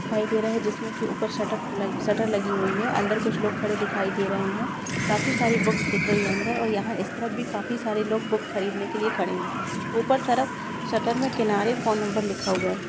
--दिखाई दे रहा है जिसमे की ऊपर शट-- शरट शटर लगी हुई है अंदर कुछ लोग खड़े दिखाई दे रहे है काफी सारी बुकस दिख रही है अंदर ओर यह इस तरफ भी काफी सारे लोग बुकस खरीद ने के लिए खड़े है ऊपर तरफ शटर में किनारे फोन नंबर लिखा हुआ है।